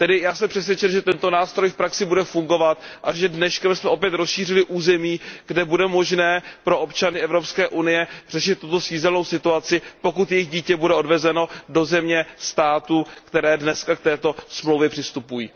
Tedy já jsem přesvědčen, že tento nástroj v praxi bude fungovat a že dneškem jsme opět rozšířili území, kde bude možné pro občany EU řešit tuto svízelnou situaci, pokud jejich dítě bude odvezeno na území země, která dnes k této úmluvě přistupuje.